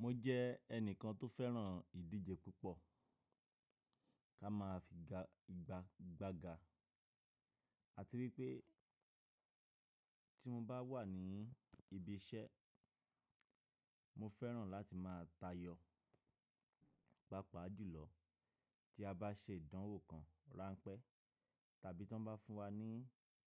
Mo jẹ́ ẹnìkan tó fẹ́ràn ìdíje púpọ̀ ká má fi ga ìgbàgbàga. A ti rí pé tí mo bá wà ní ibi iṣẹ́, mo fẹ́ràn láti máa tayọ pápá julò tí a bá se ìdánwò kan ránpẹ́ tàbí tí wọ́n bá fún wa ní